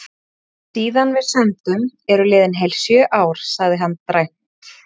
Síðan við sömdum eru liðin heil sjö ár, sagði hann dræmt.